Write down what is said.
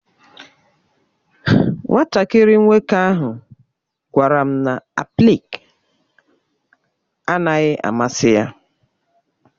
Nwatakịrị nwoke ahụ gwara m na aplịk naghị amasị ya.